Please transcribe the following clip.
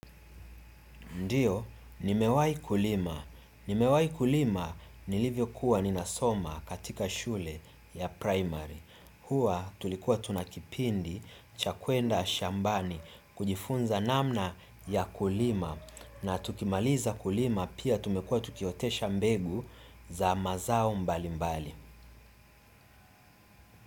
Ndiyo, nimewai kulima. Nimewai kulima nilivyokuwa ninasoma katika shule ya primary. Hua tulikuwa tuna kipindi cha kwenda shambani kujifunza namna ya kulima na tukimaliza kulima pia tumekua tukiotesha mbegu za mazao mbalimbali.